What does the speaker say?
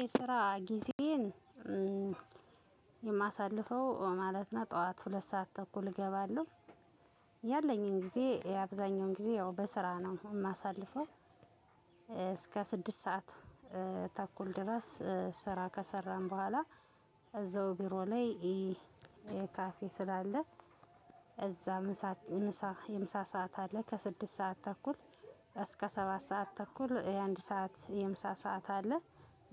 የስራ ግዜን የማሳልፈው ማለት ነው። ጠዋት ሁለት ሰዓት ተኩል እገባለሁ። ያለኝን ጊዜ አብዛኛውን ግዜ ያው በስራ ነው የማሳልፈው። እስከ ስድስት ሰዓት ተኩል ድረስ ስራ ከሰራን በኋላ እዛው ቢሮ ላይ የካፌ ስላለ እዛ የምሳ ሰዓት አለ ከስድስት ሰዓት ተኩል እስከ ሰባት ሰዓት ተኩል የአንድ ሰዓት የምሳ ሰዓት አለ